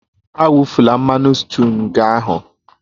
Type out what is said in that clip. Awufula mmanụ sịtịụ nga ahụ!